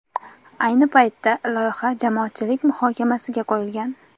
Ayni paytda loyiha jamoatchilik muhokamasiga qo‘yilgan.